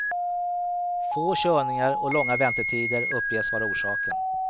Få körningar och långa väntetider uppges vara orsaken.